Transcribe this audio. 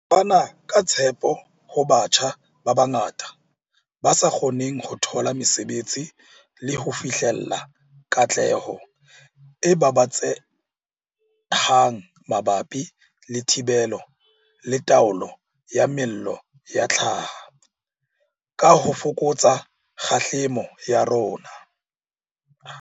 Le fana ka tshepo ho batjha ba bangata ba sa kgoneng ho thola mesebetsi le ho fihlella katleho e babatsehang mabapi le thibelo le taolo ya mello ya hlaha, ka ho fokotsa kgahlamelo ya yona.